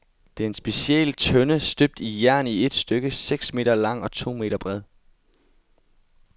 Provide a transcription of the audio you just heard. Det er en speciel tønde, støbt i jern i et stykke, seks meter lang og to meter bred.